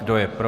Kdo je pro?